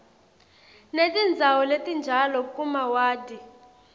netindzawo letinjalo kumawadi